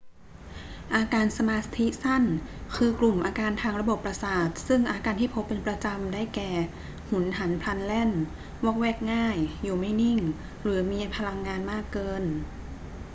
อาการสมาธิสั้น คือกลุ่มอาการทางระบบประสาทซึ่งอาการที่พบเป็นประจำ ได้แก่ หุนหันพลันแล่น วอกแวกง่าย อยู่ไม่นิ่ง หรือมีพลังงานมากเกิน